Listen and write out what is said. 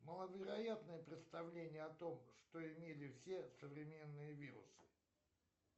маловероятное представление о том что имели все современные вирусы